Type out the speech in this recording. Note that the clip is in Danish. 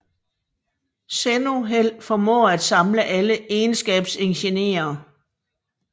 Zenoheld formår at samle alle egenskabsenergierne